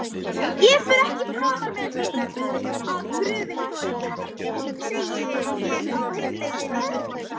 Ég fer ekki framar með þér að gröfinni Þórhildur, segi ég á heimleiðinni.